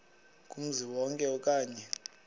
kumzi wonke okanye